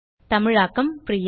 தமிழாக்கம் பிரியா